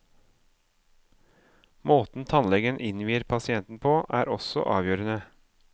Måten tannlegen innvier pasienten på, er også avgjørende.